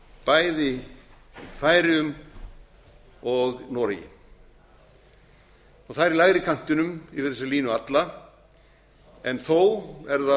bæði í færeyjum og noregi það er í lægri kantinum yfir þessa línu alla en þó er